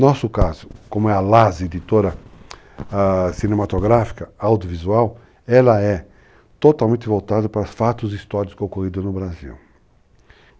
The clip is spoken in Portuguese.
Nosso caso, como é a LAS, Editora Cinematográfica, Audiovisual, ela é totalmente voltada para os fatos e histórias que ocorreram no Brasil.